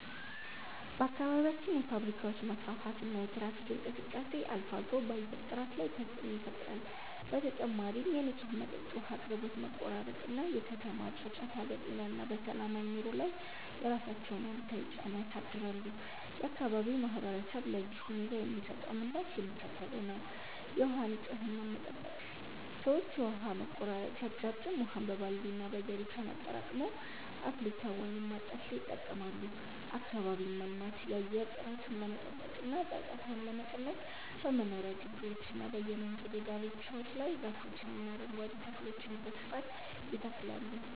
በአካባቢያችን የፋብሪካዎች መስፋፋትና የትራፊክ እንቅስቃሴ አልፎ አልፎ በአየር ጥራት ላይ ተፅዕኖ ይፈጥራል። በተጨማሪም የንጹህ መጠጥ ውሃ አቅርቦት መቆራረጥ እና የከተማ ጫጫታ በጤና እና በሰላማዊ ኑሮ ላይ የራሳቸውን አሉታዊ ጫና ያሳድራሉ። የአካባቢው ማህበረሰብ ለዚህ ሁኔታ የሚሰጠው ምላሽ የሚከተለው ነው፦ የውሃ ንፅህናን መጠበቅ፦ ሰዎች የውሃ መቆራረጥ ሲያጋጥም ውሃን በባልዲ እና በጀሪካን አጠራቅመው፣ አፍልተው ወይም አጣርተው ይጠቀማሉ። አካባቢን ማልማት፦ የአየር ጥራቱን ለመጠበቅ እና ጫጫታውን ለመቀነስ በመኖሪያ ግቢዎችና በየመንገዱ ዳርቻዎች ላይ ዛፎችንና አረንጓዴ ተክሎችን በስፋት ይተክላሉ።